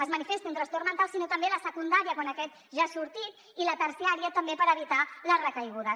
es manifesti un trastorn mental sinó també la secundària quan aquest ja ha sortit i la terciària també per evitar les recaigudes